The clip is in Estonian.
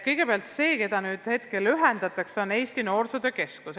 Kõigepealt, asutus, mis nüüd teistega ühendatakse, on Eesti Noorsootöö Keskus.